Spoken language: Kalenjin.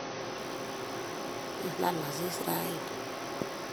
kilal asis raini